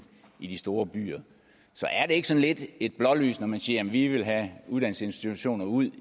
i de store byer så er det ikke sådan lidt et blålys når man siger jamen vi vil have uddannelsesinstitutioner ud